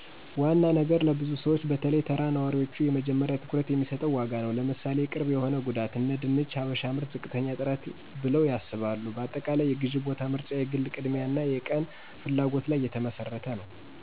ዋና ነገር ለብዙ ሰዎች(በተለይ ተራ ነዋሪዎቹ )የመጀመሪያ ትኩረት የሚሰጠው ዋጋ ነዉ። ምሣሌ፦ ቅርብ የሆነ ጉዳት አነድንች "ሀበሽ ምርት ዝቅተኛ ጥራት ብለው ያስባሉ። በአጠቃላይ፣ የግዝ ቦታ ምርጫ የግል ቅድሚያ አና የቀን ፍላጎት ለይ የተመሰረተ ነዉ።